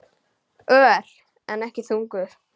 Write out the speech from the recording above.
Ör, en ekki þungur.